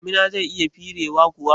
Jimina zai iya firewa kuwa?